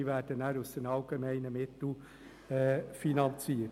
Dies wird dann aus den allgemeinen Mitteln finanziert.